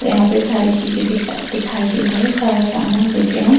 यहाँ पे सारे सारी चीज़े दिखाई दे रही हैं सारा समान लेते है हम।